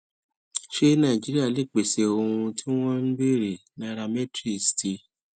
ṣé nàìjíríà lè pèsè ohun tí wọn ń béèrè nairametrics ti